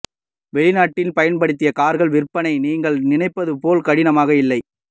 வெளிநாட்டில் பயன்படுத்திய கார்கள் விற்பனை நீங்கள் நினைப்பது போல் கடினமாக இல்லை